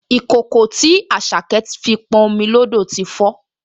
Ìkòkò tí Àṣàkẹ́ fi pọn omi lódò ti fó